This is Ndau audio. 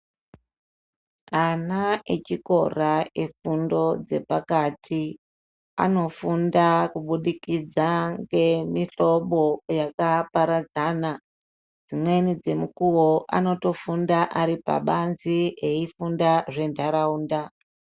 Ana echikora efundo dzepakati anofunda kubudikidza ngemihlobo yakaparadzana. Dzimweni dzemukuvo anotofunda ari pabanzi eifunda zvenharaunda.